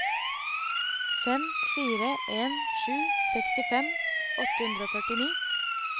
fem fire en sju sekstifem åtte hundre og førtini